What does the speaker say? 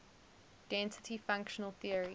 density functional theory